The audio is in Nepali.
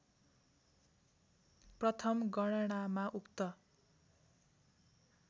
प्रथम गणनामा उक्त